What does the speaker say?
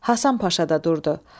Hasan Paşa da durdu.